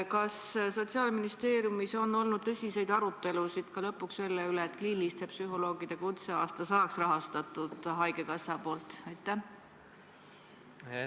Kas Sotsiaalministeeriumis on olnud tõsiseid arutelusid lõpuks selle üle, et kliiniliste psühholoogide kutseaasta saaks haigekassa poolt rahastatud?